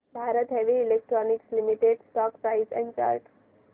Bharat Heavy Electricals Limited stock price and chart